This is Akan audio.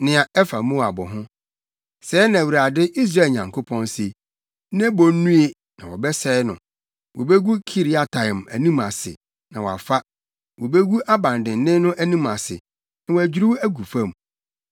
Nea ɛfa Moab ho: Sɛɛ na Awurade, Israel Nyankopɔn se: “Nebo nnue, na wɔbɛsɛe no. Wobegu Kiriataim anim ase, na wɔafa; wobegu aban dennen no anim ase, na wɔadwiriw agu fam.